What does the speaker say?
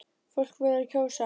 Fólk verður að kjósa!